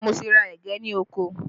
Mo ti ra ẹ̀gẹ́ ní oko